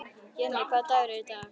Jenni, hvaða dagur er í dag?